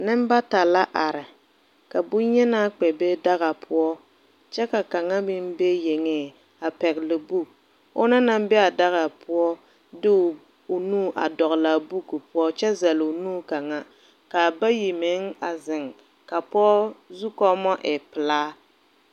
Ninbata la arẽ ka bunyenaa kpɛ be daga pou kye ka kanga meng be yenge a pɛgli buk ɔna nang be a daga pou de ɔ nu a dɔgle a buki pou kye zele ɔ nu kanga kaa bayi meng a zeng kaa poɔ zukummo a ei pelaa.